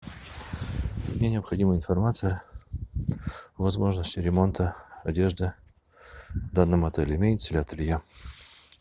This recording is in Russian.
мне необходима информация о возможности ремонта одежды в данном отеле имеется ли ателье